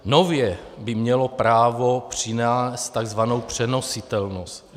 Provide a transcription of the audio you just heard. Nově by mělo právo přinést tzv. přenositelnost.